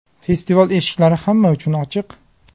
Festival eshiklari hamma uchun ochiq.